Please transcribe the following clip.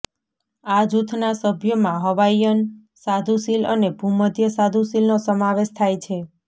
આ જૂથના સભ્યોમાં હવાઇયન સાધુ સીલ અને ભૂમધ્ય સાધુ સીલનો સમાવેશ થાય છે